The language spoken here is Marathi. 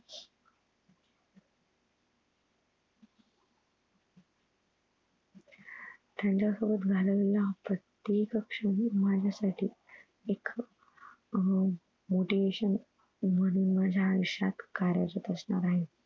त्याचं सोबत घालवलेला प्रत्येक क्षण माझ्यासाठी एक अह motivation म्हणून माझ्या आयुष्यात कार्यरत असणार आहे.